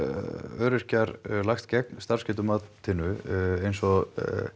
öryrkjar lagst gegn starfsgetumatinu eins og